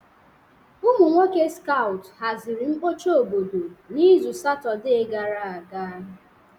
Ụmụ nwoke skout haziri mkpocha obodo n'izu Satọde gara aga.